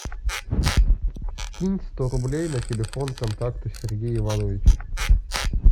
кинь сто рублей на телефон контакта сергей иванович